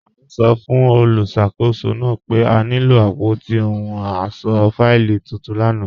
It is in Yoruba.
A sọ́ fun olúṣakòsó naa pe a nilo apótí òhùn ọṣọ́ fáìlì tuntun lána.